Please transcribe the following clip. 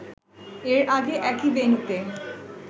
এর আগে একই ভেন্যুতে